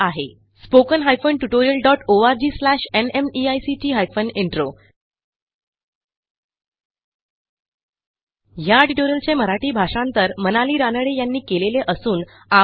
spoken hyphen tutorial dot ORG slash NMEICT hyphen intro ह्या ट्युटोरियलचे मराठी भाषांतर मनाली रानडे यांनी केलेले असून आवाज